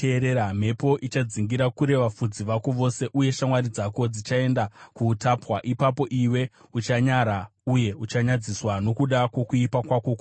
Mhepo ichadzingira kure vafudzi vako vose, uye shamwari dzako dzichaenda kuutapwa. Ipapo iwe uchanyara uye uchanyadziswa, nokuda kwokuipa kwako kwose.